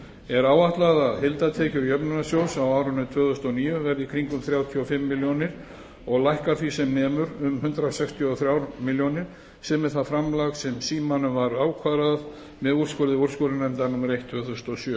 er áætlað að heildartekjur jöfnunarsjóðs á árinu tvö þúsund og níu verði í kringum þrjátíu og fimm milljónir og lækkar því sem nemur um hundrað sextíu og þrjár milljónir sem er það framlag sem símanum var ákvarðað með úrskurði úrskurðarnefndar númer eitt tvö þúsund og sjö